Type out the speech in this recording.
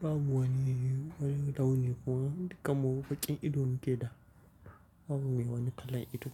Babu wani wani launi kuma dukan mu baƙin ido mun ke da. Babu mai wani kalan ido.